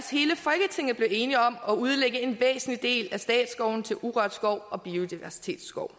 det blev enige om at udlægge en væsentlig del af statsskoven til urørt skov og biodiversitetsskov